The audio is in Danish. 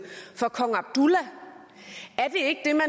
for kong abdullah